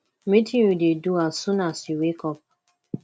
wetin you dey do as soon as you wake up